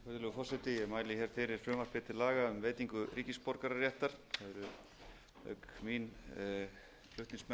ég mæli fyrir frumvarpi til laga um veitingu ríkisborgararéttar auk mín eru flutningsmenn